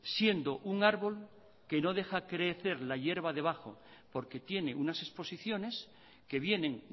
siendo un árbol que no deja crecer la hierba debajon porque tiene unas exposiciones que vienen